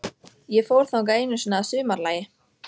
Ýmsir erfðasjúkdómar af völdum ríkjandi gena eru líka þekktir.